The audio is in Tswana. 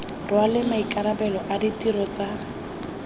rwale maikarabelo a ditiro tsa